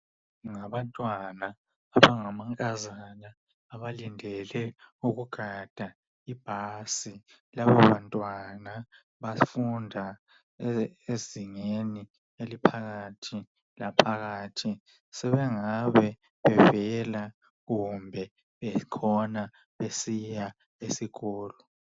Ngabantwana abangamankazana abalindele ukugada ibhasi. Laba bantwana bafunda ezingeni eliphakathi laphakathi, sebengabe bevela kumbe bekhona besiya esikolo.